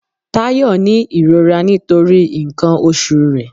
Táyọ ni ìrora nítorí nkan oṣù re